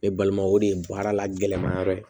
Ne balima o de ye baara la gɛlɛma yɔrɔ ye